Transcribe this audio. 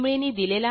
यांनी दिलेला आहे